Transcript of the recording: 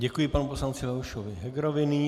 Děkuji panu poslanci Leošovi Hegerovi.